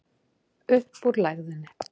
Upp úr lægðinni